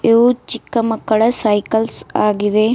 ಇದು ಚಿಕ್ಕ ಮಕ್ಕಳ ಸೈಕಲ್ಸ್ ಆಗಿವೆ.